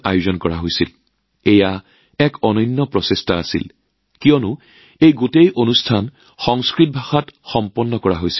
এইটো নিজৰ বাবেই অনন্য আছিল যিহেতু সমগ্ৰ অনুষ্ঠানটো সংস্কৃত ভাষাত আছিল